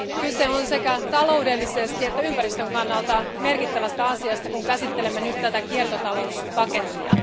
Kyse on sekä taloudellisesti että ympäristön kannalta merkittävästä asiasta, kun käsittelemme tätä kiertotalouspakettia.